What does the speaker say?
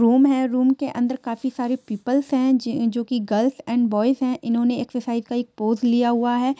Room हैं room के अन्दर काफी सारे पीपल्स हैं जे जो कि गर्ल्स एंड बोईस हैं इन्होनें एक्सरसाईज का पोज लिया हुआ हैं।